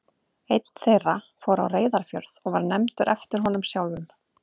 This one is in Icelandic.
Einn þeirra fór á Reyðarfjörð og var nefndur eftir honum sjálfum.